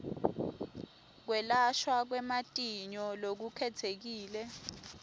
kwelashwa kwematinyo lokukhetsekile